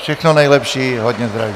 Všechno nejlepší, hodně zdraví.